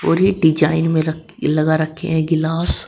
ये डिजाइन में लगा रखे हैं गिलास।